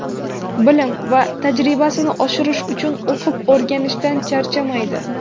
Bilim va tajribasini oshirish uchun o‘qib-o‘rganishdan charchamaydi.